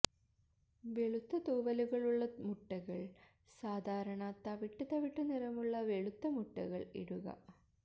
വെളുത്ത തൂവലുകൾ ഉള്ള മുട്ടകൾ സാധാരണ തവിട്ട് തവിട്ട് നിറമുള്ള വെളുത്ത മുട്ടകൾ ഇടുക